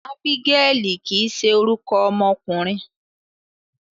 Ábígẹ́lì kìí ṣe orúkọ ọmọkùnrin.